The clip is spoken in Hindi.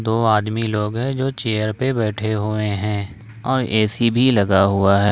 दो आदमी लोग हैं जो चेयर पे बैठे हुए हैं और ए_सी भी लगा हुआ है।